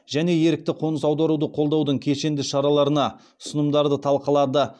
және ерікті қоныс аударуды қолдаудың кешенді шараларына ұсынымдарды талқылады